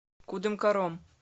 кудымкаром